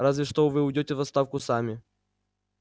разве что вы уйдёте в отставку сами